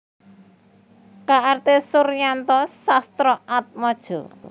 K R T Suryanto Sastroatmojo